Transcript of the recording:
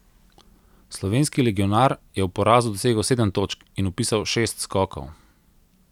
Slovenski legionar je ob porazu dosegel sedem točk in vpisal šest skokov.